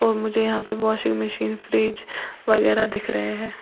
मुझे यहां पे वाशिंग मशीन फ्रिज वगैरा दिख रहे हैं।